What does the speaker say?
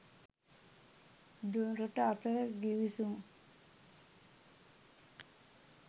දෙරට අතර ගිවිසුම්